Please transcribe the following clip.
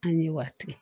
An ye wa kelen